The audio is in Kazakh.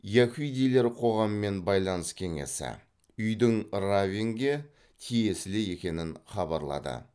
яһудилер қоғаммен байланыс кеңесі үйдің раввинге тиесілі екенін хабарлады